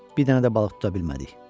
Bir dənə də balıq tuta bilmədik.